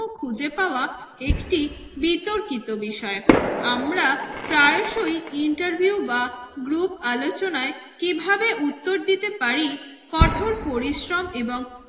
খুঁজে পাওয়া একটি বিতর্কিত বিষয়। আমরা প্রায়সই ইন্টারভিউ বা গ্রুপ আলোচনায় কিভাবে উত্তর দিতে পারি কঠোর পরিশ্রম এবং